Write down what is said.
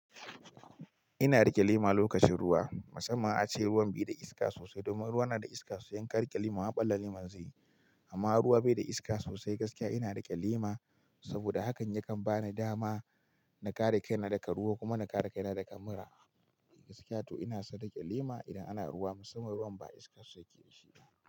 Ina riƙe lema lokacin ruwa. Masamman ace ruwan bai da iska sosai domin ruwa na da iska, su idanka riƙe lema ɓala leman zaiyi. Mama ruwa bai da iska sosai gaskiya ina riƙe lema saboda hakan yakan bani dama na kare kaina daga ruwa kuma na kare kaina daga mura. Gaskiya to ina son riƙe lema idan ana ruwa masamman ruwan ba iska sosai yake da shi.